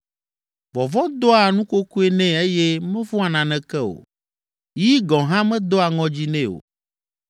Vɔvɔ̃ doa nukokoe nɛ eye mevɔ̃a naneke o, yi gɔ̃ hã medoa ŋɔdzi nɛ o.